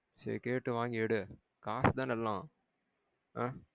சேரி கேட்டு வாங்கி எடு. காசுதான எல்லாம். ஆ